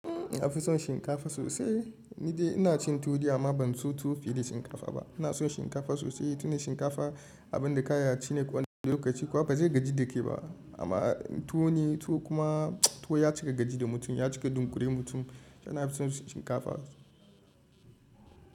Na fi son shinkafa sosai. Ni dai ina cin tuwo dai amma ban so tuwo fiye da shinkafa ba. Ina son shinkafa sosai. Tunda shinkafa abin da ka iya shine kwana da lokaci kuwa ba zai gaji da ke ba. Amma tuwo ne tuwo kuma tuwo ya cika gaji da mutum. Ya cika dunkure mutum. Ina fi son shinkafa.